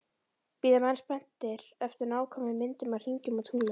Bíða menn spenntir eftir nákvæmum myndum af hringum og tunglum